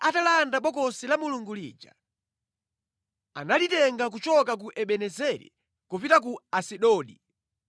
Afilisti atalanda Bokosi la Mulungu lija, analitenga kuchoka ku Ebenezeri kupita ku Asidodi.